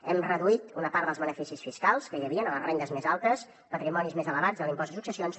hem reduït una part dels beneficis fiscals que hi havia a les rendes més altes patrimonis més elevats de l’impost de successions